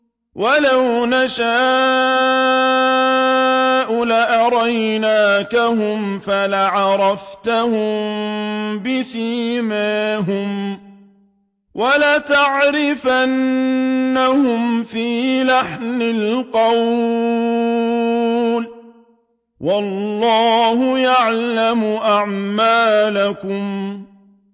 وَلَوْ نَشَاءُ لَأَرَيْنَاكَهُمْ فَلَعَرَفْتَهُم بِسِيمَاهُمْ ۚ وَلَتَعْرِفَنَّهُمْ فِي لَحْنِ الْقَوْلِ ۚ وَاللَّهُ يَعْلَمُ أَعْمَالَكُمْ